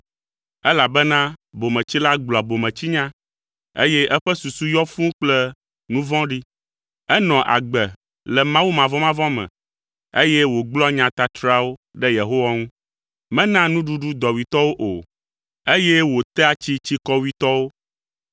elabena bometsila gblɔa bometsinya, eye eƒe susu yɔ fũu kple nu vɔ̃ɖi. Enɔa agbe le Mawu mavɔmavɔ me, eye wògblɔa nya tatrawo ɖe Yehowa ŋu, menaa nuɖuɖu dɔwuitɔwo o, eye wotea tsi tsikɔwuitɔwo.